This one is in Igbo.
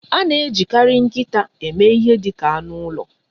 A na-ejikarị nkịta eme ihe dị ka anụ ụlọ.